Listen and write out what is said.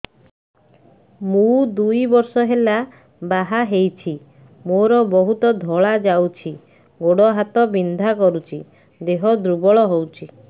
ମୁ ଦୁଇ ବର୍ଷ ହେଲା ବାହା ହେଇଛି ମୋର ବହୁତ ଧଳା ଯାଉଛି ଗୋଡ଼ ହାତ ବିନ୍ଧା କରୁଛି ଦେହ ଦୁର୍ବଳ ହଉଛି